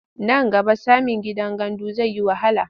Nan gaba samin gidan gandu zai yi wahala.